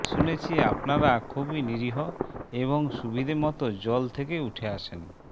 শুনেছি আপনারা খুবই নিরীহ এবং সুবিধেমতো জল থেকে উঠে আসেন